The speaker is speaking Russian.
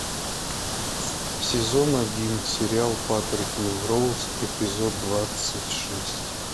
сезон один сериал патрик мелроуз эпизод двадцать шесть